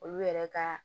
Olu yɛrɛ ka